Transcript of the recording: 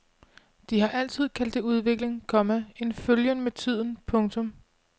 De har altid kaldt det udvikling, komma en følgen med tiden. punktum